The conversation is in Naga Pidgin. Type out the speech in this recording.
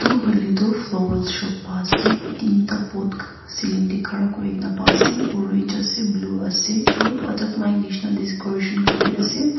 etu hoiley tu flowerl shop pa ase tinta pot cealing teh khara kuri ke na pa ase orange ase blue ase aru butterfly nisna descoration khan be ase.